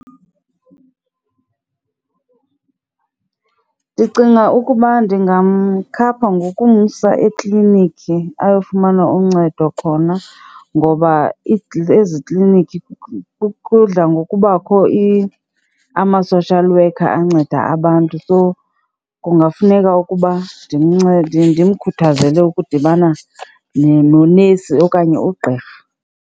Ndicinga ukuba ndingamkhapha ngokumsa ekliniki ayofumana uncedo khona ngoba ezikliniki kudla ngokubakho ama-social worker anceda abantu. So, kungafuneka ukuba ndimcede, ndimkhuthazele ukudibana nonesi okanye ugqirha.